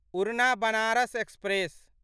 उड़ना बनारस एक्सप्रेस